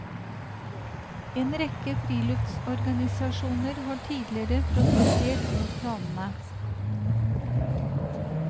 En rekke friluftsorganisasjoner har tidligere protestert mot planene.